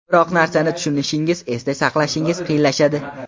Biror narsani tushunishingiz, esda saqlashingiz qiyinlashadi.